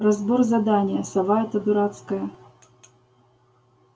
разбор задания сова эта дурацкая